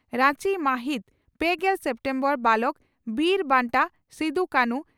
ᱨᱟᱧᱪᱤ ᱢᱟᱹᱦᱤᱛ ᱯᱮᱜᱮᱞ ᱥᱮᱯᱴᱮᱢᱵᱚᱨ (ᱵᱟᱞᱚᱠ) ᱺ ᱵᱤᱨ ᱵᱟᱱᱴᱟ ᱥᱤᱫᱚᱼᱠᱟᱱᱷᱩ